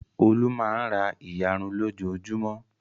Olú máa ń ra ìyarun lójoojúmọ́.